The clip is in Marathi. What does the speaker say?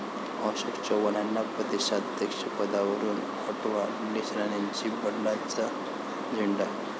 अशोक चव्हाणांना प्रदेशाध्यक्षपदावरुन हटवा, निलेश राणेंचा बंडाचा झेंडा